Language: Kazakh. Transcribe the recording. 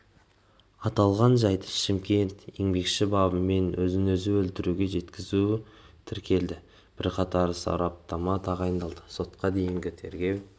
аталған жайт шымкент еңбекші бабымен өзін өзі өлтіруге жеткізу тіркелді бірқатар сараптама тағайындалды сотқа дейінгі тергеу